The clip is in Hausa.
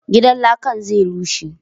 Gidan lakan zai rushe